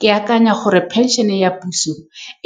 Ke akanya gore pension-e ya puso